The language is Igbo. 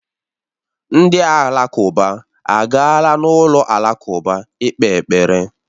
Ndị Alakụba agaala n'ụlọ alakụba ikpe ekpere